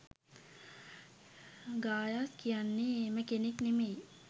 ගායස් කියන්නේ එහෙම කෙනෙක් නෙමෙයි.